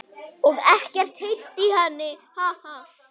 Og ekkert heyrt í henni?